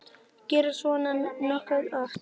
Gerist svona nokkuð oft?